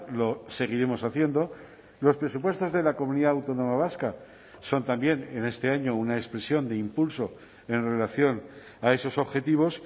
lo seguiremos haciendo los presupuestos de la comunidad autónoma vasca son también en este año una expresión de impulso en relación a esos objetivos